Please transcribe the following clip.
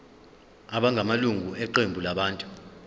abangamalunga eqembu labantu